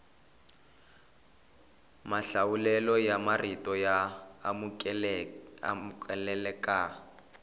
mahlawulelo ya marito ya amukeleka